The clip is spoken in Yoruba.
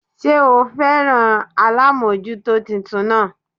Sé o féràn alámójútó titun náà